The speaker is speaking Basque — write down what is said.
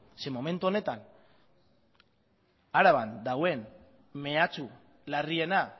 zeren momentu honetan araban dagoen mehatxu larriena